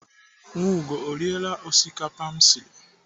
Nwaugo ọ riela osikapa m siri?